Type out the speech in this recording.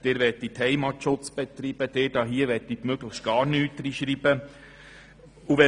Sie möchten Heimatschutz betreiben Und Sie möchten möglichst gar nichts hineinschreiben .